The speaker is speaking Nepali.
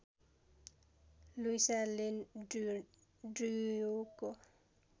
Luisa Lane ड्र्युको